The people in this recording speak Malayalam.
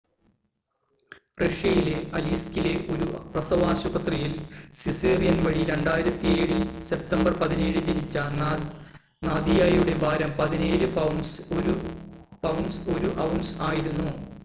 റഷ്യയിലെ അലീസ്‌കിലെ ഒരു പ്രസവാശുപത്രിയിൽ സിസേറിയൻ വഴി 2007 സെപ്റ്റംബർ 17-ന് ജനിച്ച നാദിയയുടെ ഭാരം 17 പൗണ്ട്സ് 1 ഔൺസ് ആയിരുന്നു